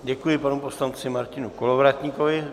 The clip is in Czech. Děkuji panu poslanci Martinu Kolovratníkovi.